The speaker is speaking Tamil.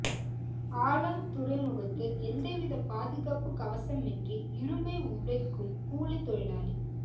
ஆலங் துறைமுகத்தில் எந்தவித பாதுகாப்பு கவசமின்றி இரும்பை உடைக்கும் கூலி தொழிலாளி